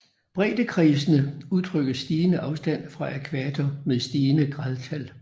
Breddekredsene udtrykker stigende afstand fra ækvator med stigende gradtal